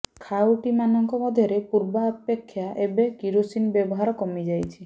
ଖାଉଟି ମାନଙ୍କ ମଧ୍ୟରେ ପୂର୍ବାପେକ୍ଷା ଏବେ କିରୋସିନ ବ୍ୟବହାର କମିଯାଇଛି